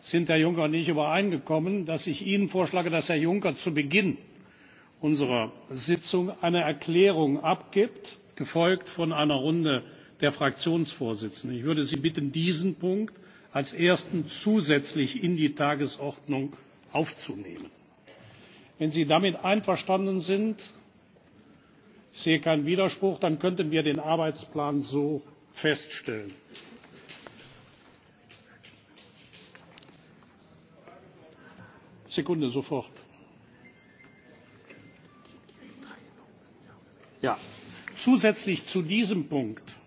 sind Herr Juncker und ich übereingekommen, dass ich Ihnen vorschlage, dass Herr Juncker zu Beginn unserer Sitzung eine Erklärung abgibt, gefolgt von einer Runde der Fraktionsvorsitzenden. Ich würde Sie bitten, diesen Punkt als ersten zusätzlich in die Tagesordnung aufzunehmen. Wenn Sie damit einverstanden sind ich sehe keinen Widerspruch dann könnten wir den Arbeitsplan so feststellen. Zusätzlich zu diesem Punkt